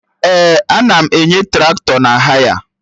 Ee, ana m enye Traktọ na haya